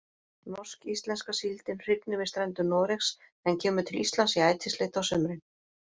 Norsk-íslenska síldin hrygnir við strendur Noregs en kemur til Íslands í ætisleit á sumrin.